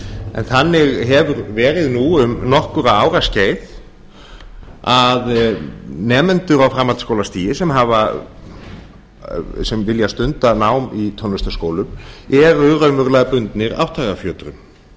en þannig hefur verið nú um nokkurra ára skeið að nemendur á framhaldsskólastigi sem vilja stunda nám í tónlistarskólum eru raunverulega bundnir átthagafjötrum